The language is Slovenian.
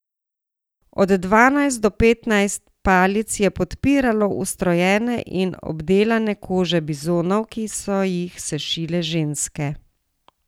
Od dvanajst do petnajst palic je podpiralo ustrojene in obdelane kože bizonov, ki so jih sešile ženske.